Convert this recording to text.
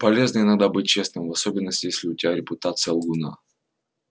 полезно иногда быть честным в особенности если у тебя репутация лгуна